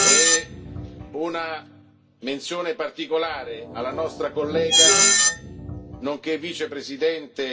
E una menzione particolare alla nostra collega, nonché vicepresidente